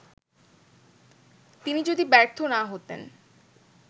তিনি যদি ব্যর্থ না হতেন